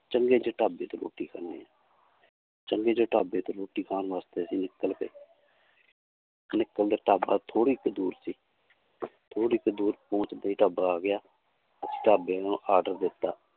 ਚੰਗੇ ਜਿਹੇ ਢਾਬੇ ਤੇ ਰੋਟੀ ਖਾਂਦੇ ਹਾਂ ਚੰਗੇ ਜਿਹੇ ਢਾਬੇ ਤੇ ਰੋਟੀ ਖਾਣ ਵਾਸਤੇ ਅਸੀਂ ਨਿਕਲ ਪਏ ਨਿਕਲਦੇ ਢਾਬਾ ਥੋੜ੍ਹੀ ਕੁ ਦੂਰ ਸੀ ਥੋੜ੍ਹੀ ਕੁ ਦੂਰ ਪਹੁੰਚਦੇ ਹੀ ਢਾਬਾ ਆ ਗਿਆ ਉਸ ਢਾਬੇ ਨੂੰ order ਦਿੱਤਾ